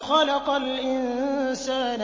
خَلَقَ الْإِنسَانَ